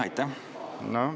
Aitäh!